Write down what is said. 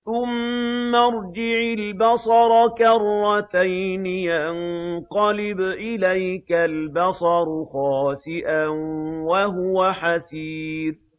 ثُمَّ ارْجِعِ الْبَصَرَ كَرَّتَيْنِ يَنقَلِبْ إِلَيْكَ الْبَصَرُ خَاسِئًا وَهُوَ حَسِيرٌ